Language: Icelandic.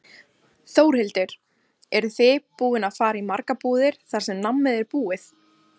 Þórhildur: Eru þið búin að fara í margar búðir þar sem nammið er búið?